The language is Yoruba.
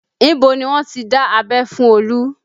Ibo ni wọ́n ti dá abẹ́ fún Olu?